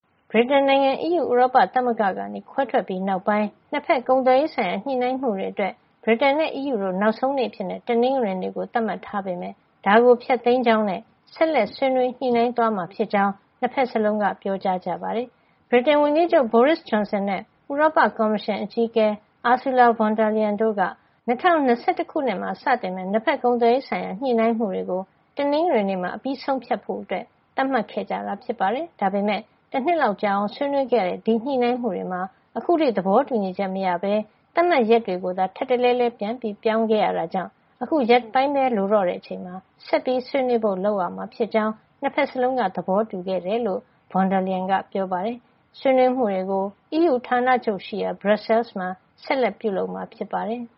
ဗြိတိန်နိုင်ငံ အီးယူ ဥရောပသမဂ္ဂကနေ ခွဲထွက်ပြီးနောက်ပိုင်း နှစ်ဖက် ကုန်သွယ်ရေးဆိုင်ရာ ညှိနှိုင်းမှုတွေအတွက် ဗြိတိန်နဲ့ အီးယူတို့ နောက်ဆုံးနေ့အဖြစ် တနင်္ဂနွေနေ့ကို သတ်မှတ်ထားပေမယ့် ဒါကို ဖျက်သိမ်းကြောင်းနဲ့ ဆက်လက်ဆွေးနွေး ညှိနှိုင်းသွားမှာဖြစ်ကြောင်း နှစ်ဖက်စလုံးက ပြောပါတယ်။ ဗြိတိန်ဝန်ကြီးချုပ် Boris Johnson နဲ့ ဥရောပကော်မရှင် အကြီးအကဲ Ursula von der Leyen တို့က ၂၀၂၁ ခုနှစ်မှာ စတင်မယ့် နှစ်ဖက်ကုန်သွယ်ရေးဆိုင်ရာ ညှိနှိုင်းမှုတွေကို တနင်္ဂနွေနေ့မှာ အပြီးဆုံးဖြတ်ချက် သတ်မှတ်ခဲ့တာ ဖြစ်ပါတယ်။ ဒါပေမယ့် တနှစ်လောက်ကြာအောင် ဆွေးနွေးခဲ့ရတဲ့ ဒီညှိနှိုင်းမှုတွေမှာ အခုထိ သဘောတူညီချက်မရဘဲ သတ်မှတ်ရက်တွေကိုသာ ထပ်တလဲလဲ ပြန်ချခဲ့ရတာကြောင့် အခုရက်ပိုင်းပဲ လိုတော့ချိန်မှာ ဆက်ပြီး ဆွေးနွေးဖို့လုပ်ရမှာ ဖြစ်ကြောင်း နှစ်ဖက်စလုံးက သဘောတူခဲ့ကြတယ်လို့ von der Leyen ကပြောပါတယ်။ ဆွေးနွေးမှုတွေကို အီးယူဌာနချုပ်ရှိရာ ဘရပ်ဆဲလ်စ်မှာ ဆက်လက်ပြုလုပ်မှာ ဖြစ်ပါတယ်။